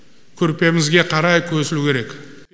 көрпемізге қарай көсілу керек